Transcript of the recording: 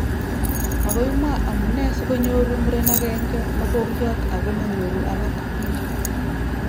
makoi mwaa amunee sikonyou muret akenge mokongiat ako manyoru alak